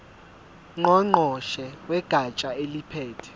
ngqongqoshe wegatsha eliphethe